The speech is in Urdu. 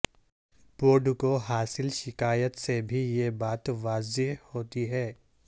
بورڈ کو حاصل شکایات سے بھی یہ بات واضح ہوتی ہے